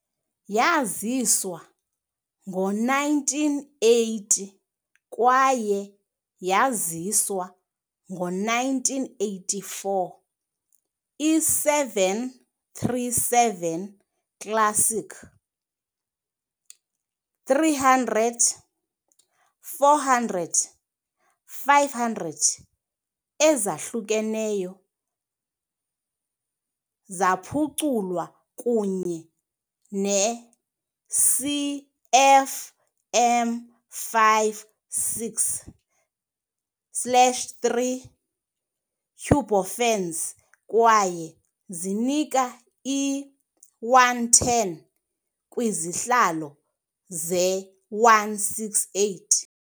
Yaziswa ngo-1980 kwaye yaziswa ngo-1984, i- 737 Classic -300 - 400 - 500 ezahlukeneyo zaphuculwa kunye ne -CFM56-3 turbofans kwaye zinika i-110 kwizihlalo ze-168.